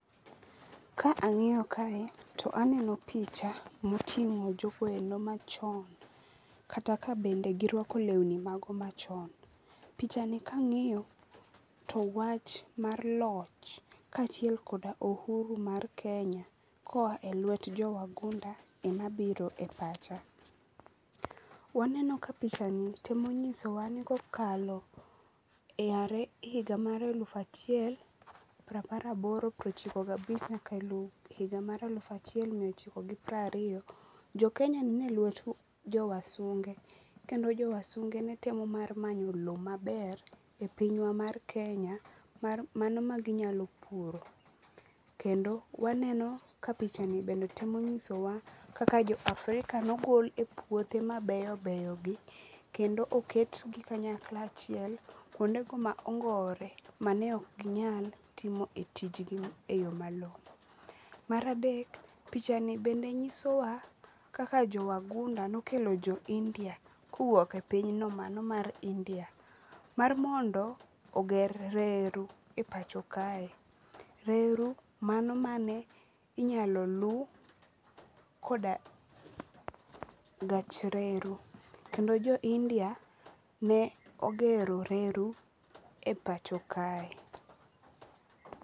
Ka ang'iyo kae to aneno picha moting'o jogo endo machon kata ka bende girwako lewni mago machon. Pichani kang'iyo to wach mar loch kaachiel koda ohuru mar Kenya koa e lwet jo wagunda ema biro e pacha. Waneno ka pichani temo nyisowa ni kokalo e are higa mar eluf achiel prapar aboro prochiko gabich nyaka higa mar aluf achiel mia ochiko gi prariyo, Jokenya ne nie lwet jo wasunge kendo jo wasunge ne temo manyo lo maber e pinywa mar kenya mano ma ginyalo puro. Kendo waneno ka pichani bende temo ng'isowa kaka jo Afrika nogol e puothe mabeyo beyogi kendo oketgi kanyakla achiel kuondego ma ongorore mane ok ginyal timo e tijgi e yo malong'o. Mar adek pichani bende nyisowa kaka jo wagunda nokelo jo India kowuok e pinyno mano mar India mar mondo oger reru e pacho kae. Reru mano mane inyalo lu koda gach reru kendo jo India ne ogero reru e pacho kae.